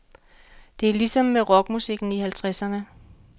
Det er ligesom med rockmusikken i halvtredserne.